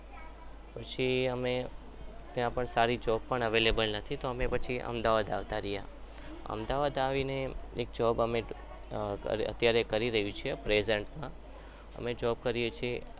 પછી અમે ત્યાં પણ સારી job પણ available નથી એટલે અમે અમદાવાદ આવી ગયા અમદાવાદ આવીને અમે એક job અમે કરી રહ્યા છીએ present માં અમે job કરીએ છીએ.